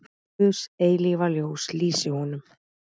Guðs eilífa ljós lýsi honum.